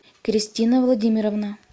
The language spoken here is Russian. кристина владимировна